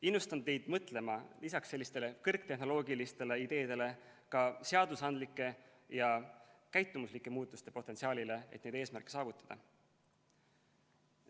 Innustan teid mõtlema lisaks sellistele kõrgtehnoloogilistele ideedele ka seadusandlike ja käitumuslike muutuste potentsiaalile, et neid eesmärke saavutada.